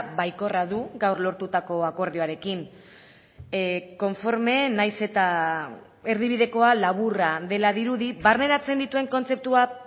baikorra du gaur lortutako akordioarekin konforme nahiz eta erdibidekoa laburra dela dirudi barneratzen dituen kontzeptuak